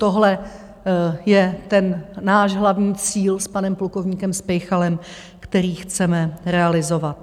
Tohle je ten náš hlavní cíl s panem plukovníkem Speychalem, který chceme realizovat.